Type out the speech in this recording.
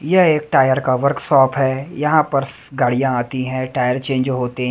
यह एक टायर का वर्कशॉप है यहां पर गाड़ियां आती है टायर चेंज होते हैं।